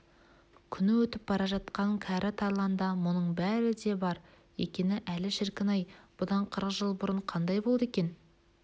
күні өтіп бара жатқан кәрі тарланда мұның бәрі де бар екен әлі шіркін-ай бұдан қырық жыл бұрын қандай болды екен